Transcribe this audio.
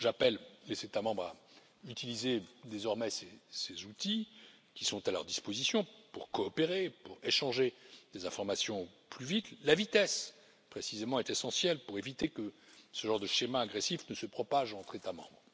J'appelle les États membres à utiliser désormais ces outils qui sont à leur disposition pour coopérer, pour échanger des informations plus vite. La vitesse, précisément, est essentielle pour éviter que ce genre de schéma agressif ne se propage entre États membres.